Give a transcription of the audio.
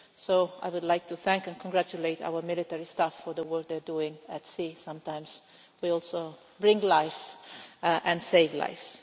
So I would like to thank and congratulate our military staff for the work they are doing at sea. Sometimes we also bring life and save lives.